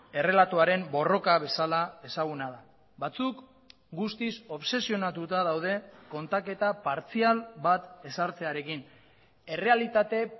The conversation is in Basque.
errelatoaren borroka bezala ezaguna da batzuk guztiz obsesionatuta daude kontaketa partzial bat ezartzearekin errealitate